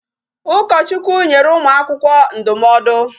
Ụkọchukwu nyere ụmụ akwụkwọ ndụmọdụ.